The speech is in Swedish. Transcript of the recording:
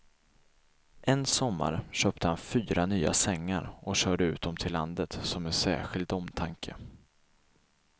En sommar köpte han fyra nya sängar och körde ut dem till landet som en särskild omtanke.